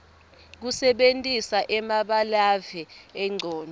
kusebentisa emabalave engcondvo